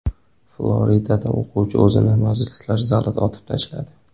Floridada o‘quvchi o‘zini majlislar zalida otib tashladi.